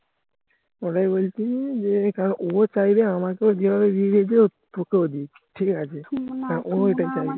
বলছি যে এটা চাইলে আমাকে হ্যা ও ও এটাই